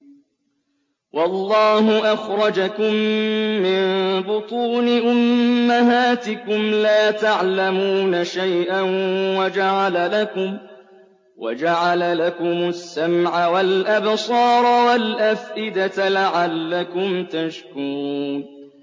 وَاللَّهُ أَخْرَجَكُم مِّن بُطُونِ أُمَّهَاتِكُمْ لَا تَعْلَمُونَ شَيْئًا وَجَعَلَ لَكُمُ السَّمْعَ وَالْأَبْصَارَ وَالْأَفْئِدَةَ ۙ لَعَلَّكُمْ تَشْكُرُونَ